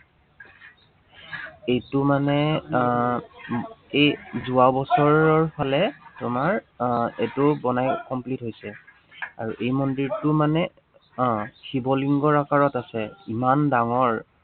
এইটো মানে আহ এৰ যোৱাবছৰৰ ফালে তোমাৰ আহ এইটো বনাই complete হৈছে। আৰু এই মন্দিৰটো মানে আহ শিৱলংগৰ আকাৰত আছে। ইমান ডাঙৰ।